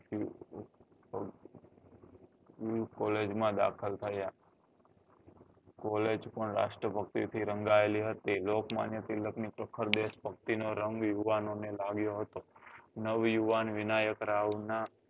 Collage માં દાખલ થયા collage પણ રાષ્ટ્ર ભક્તિ થી રંગાયેલી હતી લોક માન્ય તિલક ની પ્રખર દેશ ભક્તિ નો રંગ યુવાનો ને લાગ્યો હતો નવ યુવાન વિનાયક રાવ ના